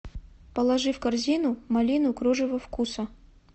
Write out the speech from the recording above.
положи в корзину малину кружево вкуса